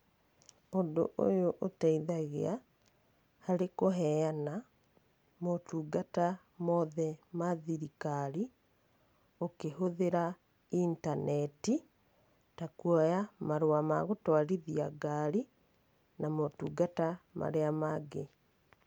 Ũndũ ũyu ũteithagia harĩ kũheana motungata mothe ma thirikari ũkĩhũthĩra intaneti, ta kũoya marũa ma gũtũarithia ngari, na motungata marĩa mangĩ.